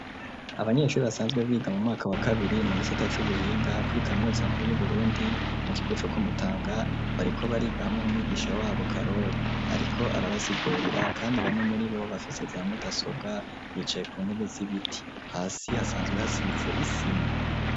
Abanyeshuri basanzwe biga mu mwaka wa kabiri mu gisita c'ubuhinga, kurikaminuza nkuru yu Burundi mu kigo co kumutanga bariko bariga hamwe n'umwigisha wabo karori ariko arabasigurira kandi bamwe muri bo bafise za mudasobwa bicaye ku ntebe z'ibiti, hasi hasanzwe hasize isima.